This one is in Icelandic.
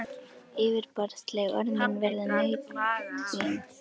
Yfirborðsleg orð mín verða nautn þín.